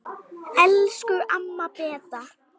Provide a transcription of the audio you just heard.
Elsku amma Beta.